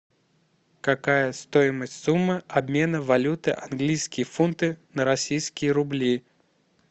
какая стоимость суммы обмена валюты английские фунты на российские рубли